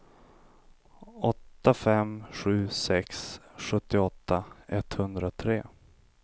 åtta fem sju sex sjuttioåtta etthundratre